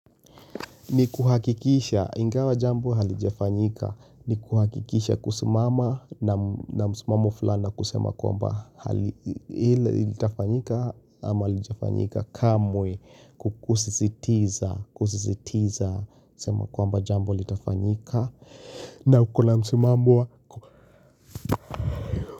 Ni kuhakikisha, ingawa jambo halijafanyika, ni kuhakikisha kusimama na msimamo fulani na kusema kwamba ile ilitafanyika ama halitafanyika kamwe kwa kusisitiza kusizitiza kusema kwamba jambo litafanyika na kuna msimamo wako.